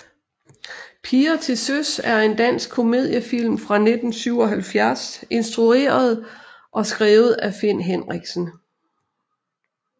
Piger til søs er en dansk komediefilm fra 1977 instrueret og skrevet af Finn Henriksen